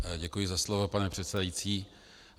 Děkuji za slovo, pane předsedající.